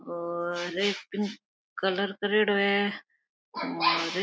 और red pink colour करेडो है और --